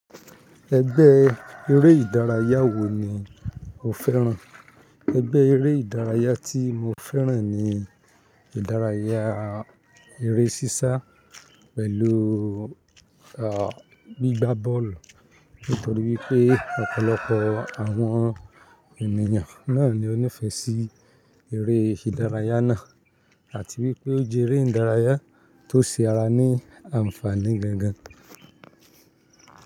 Ẹgbẹ́ eré ìdárayá wo ni o fẹ́ràn? Ẹgbẹ́ eré ìdárayá tí mo fẹ́ràn ni ìdárayá eré sísá pẹ̀lú, ah, gbígba bọ́ọ̀lù. Nítorí wípé ọ̀pọ̀lọpọ̀ àwọn ènìyàn náà ni ó nífẹ̀ẹ́ sí eré ìdárayá náà àti wípé o jẹ́ eré ìdárayá tó ṣe ara ní àǹfààní gangan.